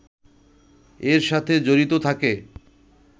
এর সাথে জড়িত থাকে